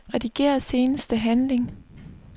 Rediger seneste handling.